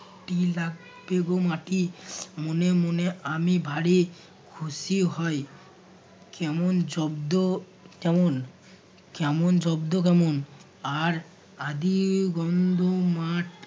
মাটি লাগবে গো মাটি মনে মনে আমি ভারি খুশি হই কেমন জব্দ কেমন কেমন জব্দ কেমন আর আদি গন্ধ মাঠ